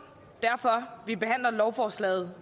derfor vi behandler lovforslaget